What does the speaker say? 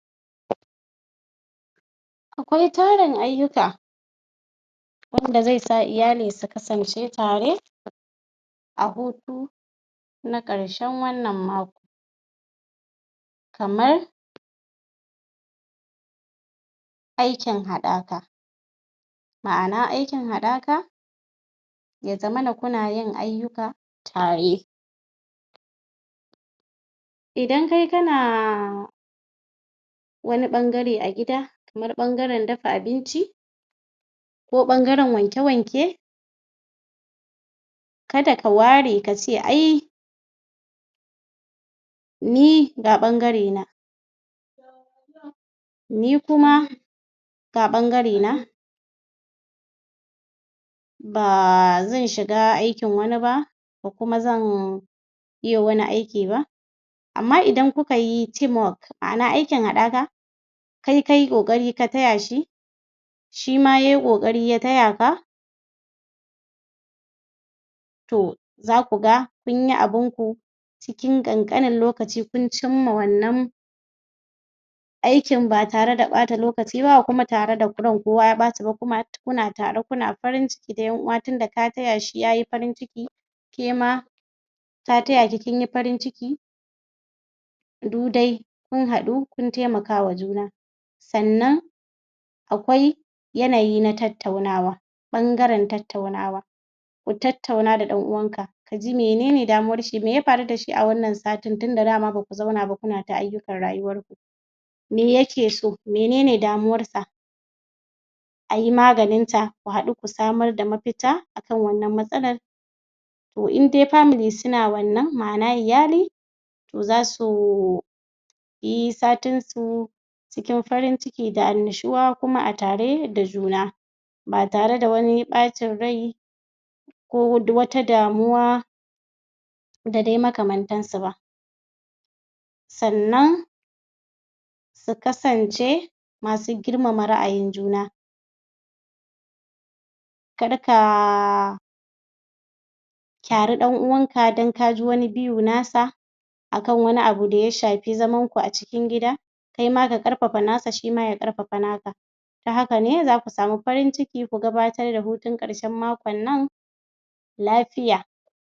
Akwai tarun ayyukan wanda zai sa iyali su kasance tare a hutu na ƙarshen wannan mako kamar aikin haɗaka ma'ana aikin haɗaka ya zamana kuna yin ayyuka tare Idan kai kana wani ɓangare a gida, kamar ɓangaren dafa abinci ko ɓangaren wankw-wanke ka da ka ware ka ce ai ni ga ɓangarena. Ni kuma ga ɓangarena ba zan shiga aikin wani ba ba kuma zan iya wani aiki ba amma idan kuka yi team work ma'ana aikin haɗaka kai ka yi ƙoƙari ka taya shi shi ma ya yi ƙoƙari ya taya ka, to za kuaga kun yi abunku cikin ƙanƙanin lokaci kun cimma wannan aikin ba tare da ɓata lokaci ba kuma ba tare da ran kowa ya ɓaci ba.kuma kuna tare kuna farin ciki na ƴan uwa tun da ka taya shi ya yi farin ciki, ke ma ta taya ki kin yi farin ciki du dai kun haɗu kun haɗu kun taimaka wa juna. sannan Akwai yanayi na tattaunawa, ɓangaren tattaunawa. Kutattauna da ɗan uwanka, ka ji mene ne damuwarshi, me ya faru da shi a wannan satin daman ba ku zauna ba tuna ta ayyukan rayuwarku. me yake so menen damuwarsa I maganinta ku haɗu ku samar da mafita akan wannan matsalar to in dai family suna wannan ma'ana iyali za su yi satinsu cikin farin ciki da annushuwa kuma tare da juna ba tare da wani ɓacin rai ko wata damuwa da dai makmantansu ba sannan su kasance masu girmamam ra'ayin juna kar ka kyari ɗan'uwanka don ka yi wani view na sa a kan wani abu da ya shafi zaman ku a cikin gida kai ma ka ƙarfafa naka shi ma ya ƙarfafa nasa. ta haka ne za ku samu farin ciki ku gabatar da hutun ƙarshen makon nan lafiya.